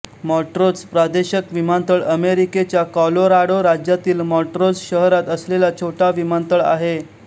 Montrose प्रादेशक विमानतळ अमेरिकेच्या कॉलोराडो राज्यातील माँट्रोझ शहरात असलेला छोटा विमानतळ आहे